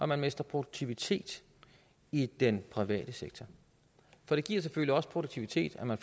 man mister produktivitet i den private sektor for det giver selvfølgelig også produktivitet at man